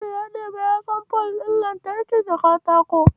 Kabiru ya de baya son fol ɗin lantarki ta katako.